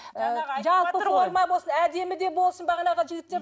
жалпы форма болсын әдемі де болсын бағанағы жігіттер